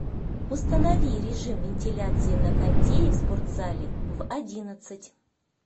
установи режим вентиляции на кондее в спортзале в одиннадцать